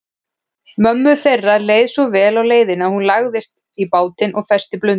Mömmu þeirra leið svo vel á leiðinni að hún lagðist í bátinn og festi blund.